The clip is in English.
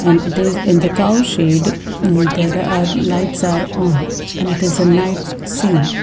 it is in the cow shed uhh there are lights are on and it is a night scene.